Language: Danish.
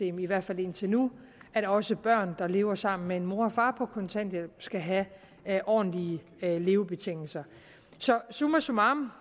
i hvert fald indtil nu at også børn der lever sammen med en mor og en far på kontanthjælp skal have ordentlige levebetingelser så summa summarum